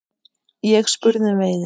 Ég spurði um veiði.